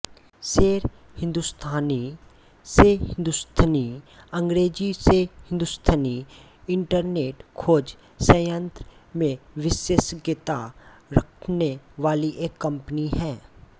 शेर हिंदुस्थानीशेर्हिन्दुस्थनि अंग्रेज़ी शेर्हिन्दुस्थनि इंटरनेट खोज सयंत्र में विशेषज्ञता रखने वाली एक कंपनी है